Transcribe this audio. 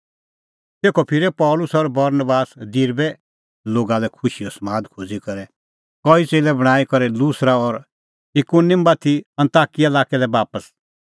तेखअ फिरै पल़सी और बरनबास दिरबे लोगा लै खुशीओ समाद खोज़ी करै कई च़ेल्लै बणांईं करै लुस्रा और इकुनिम बाती अन्ताकिया लाक्कै लै बापस